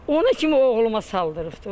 Ona kimi oğluma saldırıbdır.